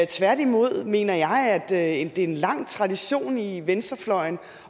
tværtimod mener jeg at det er en lang tradition i venstrefløjen